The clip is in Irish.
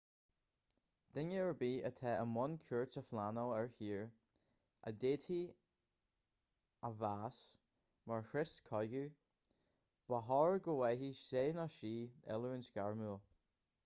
duine ar bith atá i mbun cuairt a phleanáil ar thír a d'fhéadfaí a mheas mar chrios cogaidh ba chóir go bhfaigheadh sé/sí oiliúint ghairmiúil